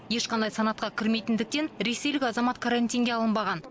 ешқандай санатқа кірмейтіндіктен ресейлік азамат карантинге алынбаған